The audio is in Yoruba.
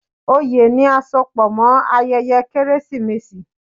Ọyẹ́ ní àsopọ̀ mọ ayẹyẹ Kérésìmesì.